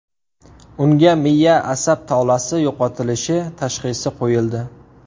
Unga miya asab tolasi yo‘qotilishi tashxisi qo‘yildi.